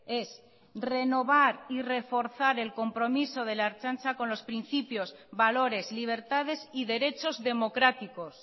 es renovar y reforzar el compromiso de la ertzaintza con los principios valores libertades y derechos democráticos